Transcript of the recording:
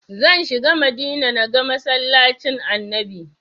Zan shiga Madina na ga masallacin annabi